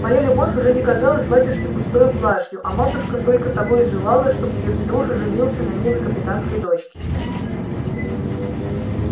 моя любовь уже не казалась батюшке пустою блажью а матушка только того и желала чтоб её петруша женился на милой капитанской дочке